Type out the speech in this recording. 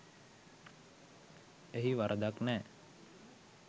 එහි වරදක් නැ